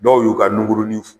Dɔw y'u ka nuguruni